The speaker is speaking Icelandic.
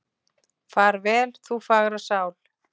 Far vel, þú fagra sál.